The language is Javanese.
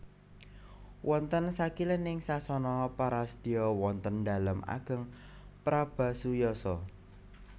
Wonten sakilening Sasana Parasdya wonten nDalem Ageng Prabasuyasa